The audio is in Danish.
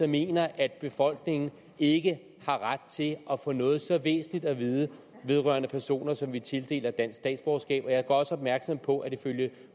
mener at befolkningen ikke har ret til at få noget så væsentligt at vide vedrørende personer som vi tildeler dansk statsborgerskab og jeg gør også opmærksom på at ifølge